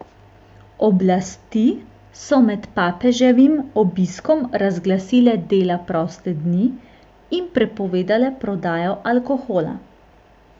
Oblasti so med papeževim obiskom razglasile dela proste dni in prepovedale prodajo alkohola.